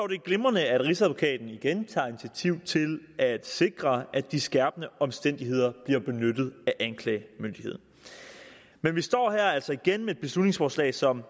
det er glimrende at rigsadvokaten igen tager initiativ til at sikre at de skærpende omstændigheder bliver benyttet af anklagemyndigheden men vi står altså igen her med et beslutningsforslag som